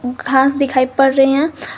घास दिखाई पड़ रहे हैं।